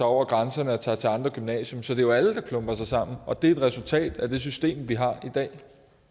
over grænserne og tager til andre gymnasier så det er jo alle der klumper sig sammen og det er et resultat af det system vi har i dag